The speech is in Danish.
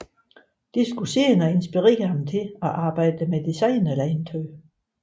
Dette skulle senere inspirere ham til at arbejde med designerlegetøj